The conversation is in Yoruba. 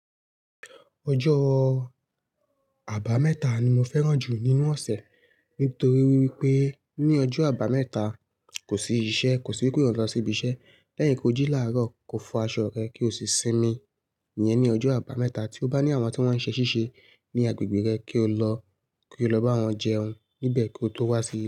Ọjọ́ àbámẹ́ta ni mo fẹ́ràn jù nínú ọ̀sẹ̀, nítorí wípé ní ọjọ́ àbámẹ́ta kò sí iṣẹ́, kò sí wípé òun lọ́ síbi iṣẹ́ lẹ́yìn kí o jí láàárọ̀, ko fọ aṣọ rẹ, kí o sì sinmi, ìyẹn ni ọjọ́ àbámẹ́ta. Tí ó bá ní àwọn tí wọ́n ń ṣe ṣíṣe ní agbègbè rẹ, kí o lọ, kí o lọ bá wọn jẹun níbẹ̀ kí ó tó wá sílé.